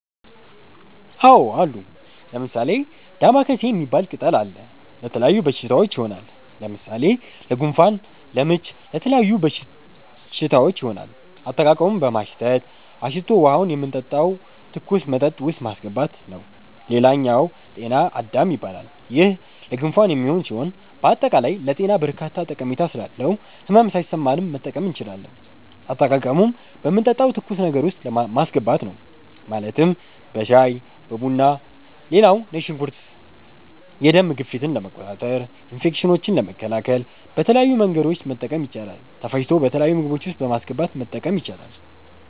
አዎ አሉ። ለምሣሌ፦ ደማከሴ ሚባል ቅጠል አለ። ለተለያዩ በሽታዎች ይሆናል። ለምሣሌ ለጉንፋን፣ ለምች ለተለያዩ በሽታዎች ይሆናል። አጠቃቀሙም በማሽተት፣ አሽቶ ውሀውን የምንጠጣው ትኩስ መጠጥ ውስጥ ማሥገባት ነዉ ሌላኛው ጤና -አዳም ይባላል ይሄም ለጉንፋን የሚሆን ሢሆን በአጠቃላይ ለጤና በርካታ ጠሜታ ስላለው ህመም ሣይሠማንም መጠቀም እንችላለን። አጠቃቀሙም በምንጠጣው ትኩስ ነገር ውስጥ ማስገባት ነው ማለትም በሻይ(በቡና ) ሌላው ነጭ ሽንኩርት የደም ግፊትን ለመቆጣጠር፣ ኢንፌክሽኖችን ለመከላከል በተለያዩ መንገዶች መጠቀም ይቻላል ተፈጭቶ በተለያዩ ምግቦች ውስጥ በማስገባት መጠቀም ይቻላል።